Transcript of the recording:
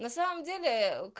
на самом деле